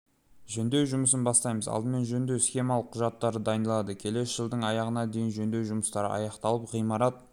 жөндеу жұмысын бастаймыз алдымен жөндеу-сметалық құжаттары дайындалады келесі жылдың аяғына дейін жөндеу жұмыстары аяқталып ғимарат